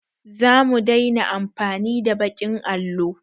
Zamu daina amfani da baƙin allo